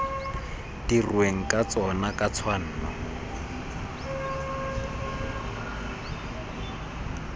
dirweng ka tsona ka tshwanno